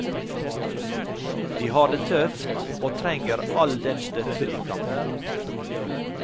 De har det tøft, og trenger all den støtte de kan få.